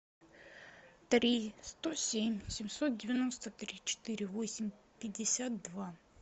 три сто семь семьсот девяносто три четыре восемь пятьдесят два